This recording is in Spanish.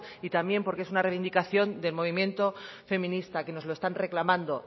y también porque es una reivindicación del movimiento feminista que nos lo están reclamando